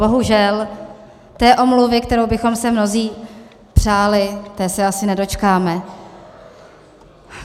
Bohužel, té omluvy, kterou bychom si mnozí přáli, té se asi nedočkáme.